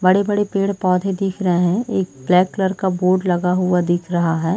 बड़े- बड़े पेड़-पौधे दिख रहे है एक ब्लैक कलर का बोर्ड लगा हुआ दिख रहा है।